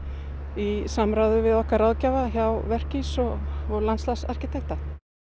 í samráði við okkar ráðgjafa hjá Verkís og landslagsarkitekta